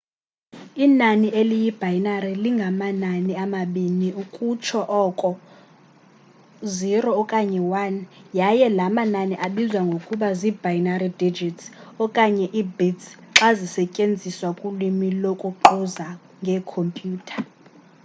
inani eliyi-binary linganamanani amabini ukutsho oko 0 okanye 1 yaye la manani abizwa ngokuba zii-binary digits okanye ii-bits xa zisetyenziswa kulwimi lokuquza ngeekhompyutha